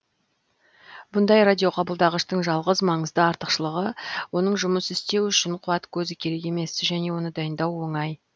бұндай радиоқабылдағыштың жалғыз маңызды артықшылығы оның жұмыс істеуі үшін қуат көзі керек емес және оны дайындау оңай